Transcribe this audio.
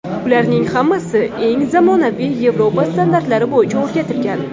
Ularning hammasi eng zamonaviy yevropa standartlari bo‘yicha o‘rgatilgan.